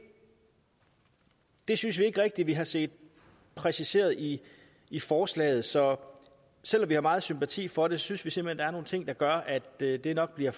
det synes vi ikke rigtig vi har set præciseret i i forslaget så selv om vi har meget sympati for det synes vi simpelt er nogle ting der gør at det det nok bliver